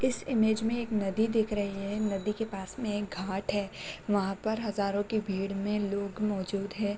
इस इमेज में एक नदी दिख रही है नदी के पास में एक घाट है वहाँ पर हज़ारों की भीड़ में लोग मौजूद हैं।